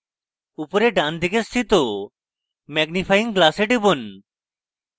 উপরে ডানদিকে স্থিত magnifying glass টিপুন